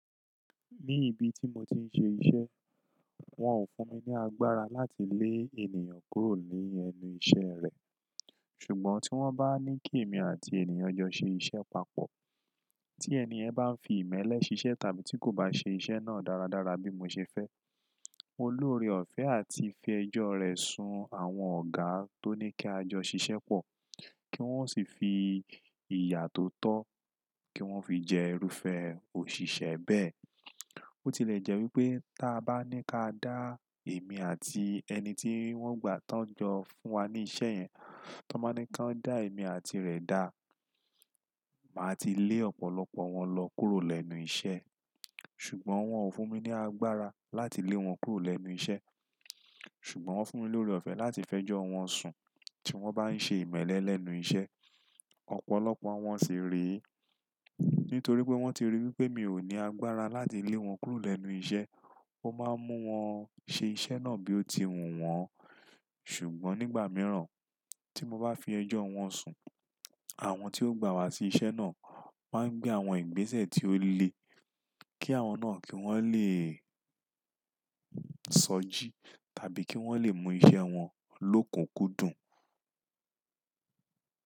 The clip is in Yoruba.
Ní ibi tí mo ti ń ṣe iṣẹ́, wọ́n ò fún mi ní agbára láti lé ènìyàn kúrò ní ẹnu iṣẹ́ rẹ̀. Ṣùgbọ́n tí wọ́n bá ní kí èmi àti ènìyàn jọ ṣe iṣẹ́ papọ̀, tí ẹniyẹn bá ń fi ìmẹ́lẹ́ ṣiṣẹ́ tàbí tí kò bá ṣe iṣẹ́ náà dáradára bí mo ṣe fẹ́, mo lóore ọ̀fẹ́ àti fi ẹjọ́ rẹ̀ sun àwọn ọ̀gá tó ní kí a jọ ṣiṣẹ́ pọ̀ kí wọ́n sì fi ìyà tó tọ kí wọ́n fi jẹ irúfẹ́ òṣìṣẹ́ bẹ́ẹ̀. Bo tilẹ̀ jẹ́ wípé ta bá ní ká dá èmi àti ẹni tí wọ́n gbà tán jọ fún wa ní iṣẹ́ yẹn, tí wọ́n bá ní kí wón dá èmi àti rẹ̀ dá, màá ti lé ọ̀pọ̀lọpọ̀ wọn lọ kúrò lẹ́nu iṣẹ́. Ṣùgbọ́n wọ́n ò fún mi ní agbára láti lé wọn kúrò lẹ́nu iṣẹ́. Ṣùgbọ́n wọ́n fún mi lórí ọ̀fẹ́ láti fẹ́ jọ wọn sùn tí wọ́n bá ń ṣe ìmẹ́lẹ́ lẹ́nu iṣẹ́. Ọ̀pọ̀lọpọ̀ wọn sì re e. Nítorí boya wọ́n ti rí wípé mi ò ní agbára láti lé wọn kúrò lẹ́nu iṣẹ́, ó máa ń mú wọn ṣe iṣẹ́ náà bí ó ti wù wọn. Ṣùgbọ́n nígbà mìíràn tí mo bá fi ẹjọ́ wọn sùn, àwọn tí ó gbà wa sí iṣẹ́ náà máa ń gbé àwọn ìgbésẹ̀ tí ó le kí àwọn náà kí wọ́n le sọjí tàbí kí wọ́n le mú iṣẹ́ wọn lókunkúndùn.